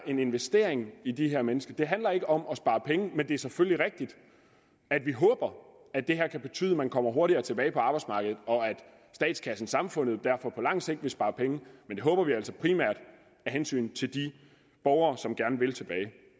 en investering i de her mennesker det handler ikke om at spare penge men det er selvfølgelig rigtigt at vi håber at det her kan betyde at man kommer hurtigere tilbage på arbejdsmarkedet og at statskassen samfundet derfor på lang sigt vil spare penge men det håber vi altså primært af hensyn til de borgere som gerne vil tilbage